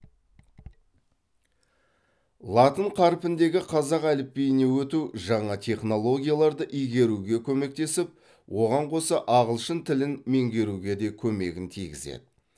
латын қарпіндегі қазақ әліпбиіне өту жаңа технологияларды игеруге көмектесіп оған қоса ағылшын тілін меңгеруге де көмегін тигізеді